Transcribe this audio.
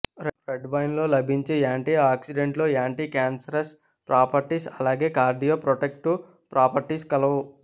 red wine లో లభించే antioxidants లో యాంటీ క్యాన్సరస్ ప్రాపర్టీస్ అలాగే కార్డియో ప్రొటెక్టివ్ ప్రాపర్టీస్ కలవు